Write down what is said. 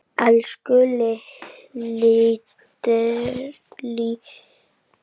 Elsku litríka Helga frænka.